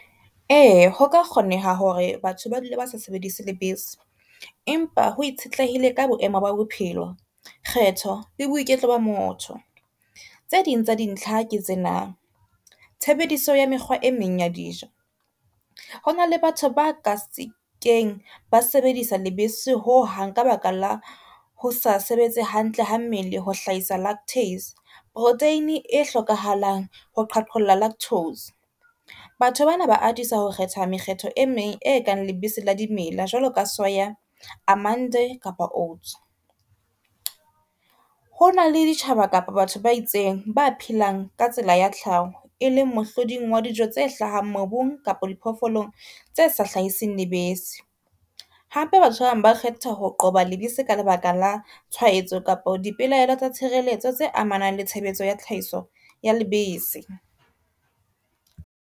E, ho ka kgoneha hore batho ba dula ba sa sebedise lebese, empa ho itshetlehile ka boemo ba bophelo, kgetho le boiketlo ba motho. Tse ding tsa dintlha ke tsena tshebediso ya mekgwa e meng ya dijo. Hona le batho ba ka se keng ba sebedisa lebese ho hang ka baka la ho sa sebetse hantle ha mmele ho hlahisa protein e hlokahalang ho qhaqholla lactose, batho bana ba atisa ho kgetha mekgetho e meng e kang lebese la dimela, jwalo ka soya, kapa oats. Ho na le ditjhaba kapa batho ba itseng ba phelang ka tsela ya tlhaho e leng mohloding wa dijo tse hlahang mobung kapa diphoofolong tse sa hlahiseng lebese. Hape batho ba bang ba kgetha ho qoba lebese ka lebaka la tshwahetso kapa dipelaelo tsa tshireletso tse amanang le tshebetso ya tlhahiso ya lebese.